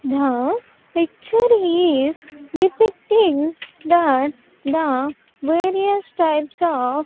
The picture is depicting that the various types of --